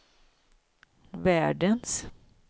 världens